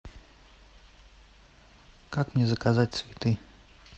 как мне заказать цветы